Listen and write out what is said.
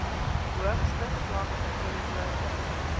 hoogste vlak verteenwoordig